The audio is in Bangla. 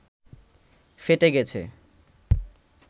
ফেটে গেছে